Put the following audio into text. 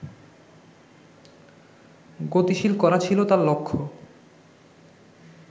গতিশীল করা ছিল তাঁর লক্ষ্য